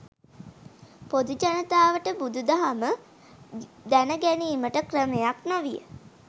පොදු ජනතාවට බුදු දහම දැන ගැනීමට ක්‍රමයක් නොවිය.